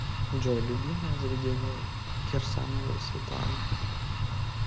джой любимое заведение кирсановой светланы